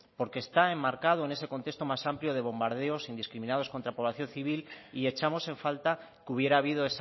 porque está enmarcado en ese contexto más amplio de bombardeos indiscriminados contra población civil y echamos en falta que hubiera habido